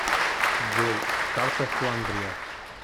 джой карта фландрия